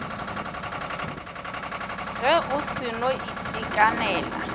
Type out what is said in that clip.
ge o se no itekanela